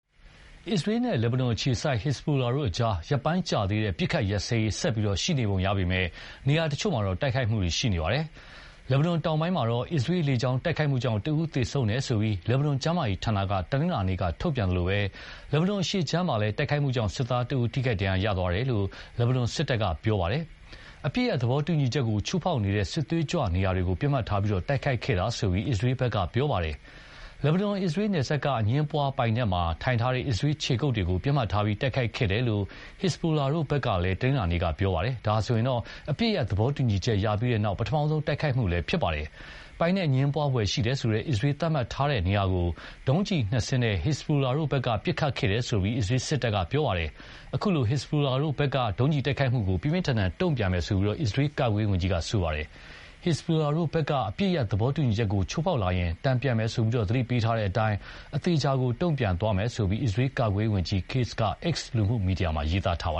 အစ္စရေးနဲ့ လက်ဘနွန်အခြေစိုက် ဟက်ဇ်ဘိုလာတို့အကြား ရက်ပိုင်းကြာသေးတဲ့ အပစ်အခတ်ရပ်စဲရေး ဆက်ပြီး ရှိနေပုံရပေမယ့် နေရာတချို့မှာတော့ တိုက်ခိုက်မှုတွေ ရှိနေပါတယ်။ လက်ဘနွန်တောင်ပိုင်းမှာ အစ္စရေးလေကြောင်းတိုက်ခိုက်မှုကြောင့် တဦးသေဆုံးတယ်လို့ လက်ဘနွန်ကျန်းမာရေးဌာနက တနင်္လာနေ့က ထုတ်ပြန်သလို၊ လက်ဘနွန်အရှေ့ခြမ်းမှာလည်း တိုက်ခိုက်မှုကြောင့် စစ်သားတဦး ထိခိုက်ဒဏ်ရာရတယ်လို့ လက်ဘနွန် စစ်တပ်က ပြောပါတယ်။ အပစ်ရပ်သဘောတူညီချက်ကို ချိုးဖောက်နေတဲ့ စစ်သွေးကြွနေရာတွေကို ပစ်မှတ်ထားပြီး တိုက်ခိုက်ခဲ့တာလို့ အစ္စရေးဘက်က ပြောပါတယ်။ လက်ဘနွန် အစ္စရေးနယ်စပ်က အငြင်းပွားပိုင်နက်မှာ ထိုင်ထားတဲ့ အစ္စရေးခြေကုပ်တွေကို ပစ်မှတ်ထားပြီး တိုက်ခိုက်ခဲ့တယ်လို့ ဟက်ဇ်ဘိုလာတို့ဘက်က တနင်္လာနေ့က ပြောပါတယ်။ ဒါဟာဆိုရင် အပစ်ရပ်သဘောတူညီချက်ရပြီးနောက် ပထမဆုံး တိုက်ခိုက်မှုလည်းဖြစ်ပါတယ်။ ပိုင်နက်အငြင်းပွားဖွယ်ရှိတယ်ဆိုတဲ့ အစ္စရေးသတ်မှတ်ထားတဲ့နေရာကို ဒုံးကျည်နှစ်စင်းနဲ့ ဟက်ဇ်ဘိုလာတို့ဘက်က ပစ်ခတ်ခဲ့တယ်လို့ အစ္စရေးစစ်တပ်က ပြောပါတယ်။ အခုလို ဟက်ဇ်ဘိုလာတို့ ဒုံးကျည်တိုက်ခိုက်မှုကို ပြင်းပြင်းထန်ထန်တုံ့ပြန်မယ်လို့ အစ္စရေးကာကွယ်ရေးဝန်ကြီးက ပြောပါတယ်။ ဟက်ဇ်ဘိုလာတို့ဘက်က အပစ်ရပ်သဘောတူညီချက်ကို ချိုးဖောက်လာရင် တုံ့ပြန်မယ်လို့ သတိပေးထားတဲ့အတိုင်း၊ အသေအချာ တုံ့ပြန်သွားမယ်လို့ အစ္စရေးကာကွယ်ရေးဝန်ကြီး Katz က X လူမှုမီဒီယာမှာ ရေးသားထားတာပါ